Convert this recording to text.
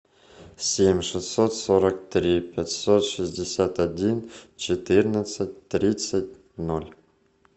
семь шестьсот сорок три пятьсот шестьдесят один четырнадцать тридцать ноль